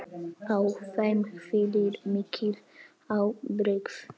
Á þeim hvílir mikil ábyrgð.